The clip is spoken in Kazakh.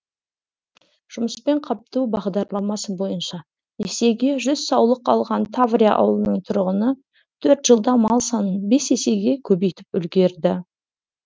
жұмыспен қамту бағдарламасы бойынша несиеге жүз саулық алған таврия ауылының тұрғыны төрт жылда мал санын бес есеге көбейтіп үлгерді